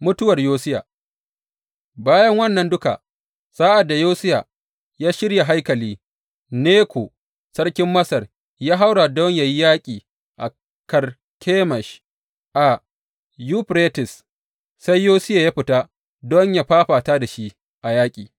Mutuwar Yosiya Bayan wannan duka, sa’ad da Yosiya ya shirya haikali, Neko sarkin Masar ya haura don yă yi yaƙi a Karkemish a Yuferites, sai Yosiya ya fita don yă fafata da shi a yaƙi.